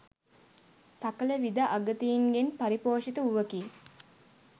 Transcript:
සකල විධ අගතීන්ගෙන් පරිපෝෂිත වූවකි.